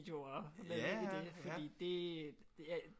Videoer med ind i det fordi det